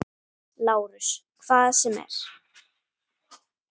LÁRUS: Hvað sem er.